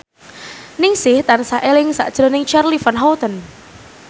Ningsih tansah eling sakjroning Charly Van Houten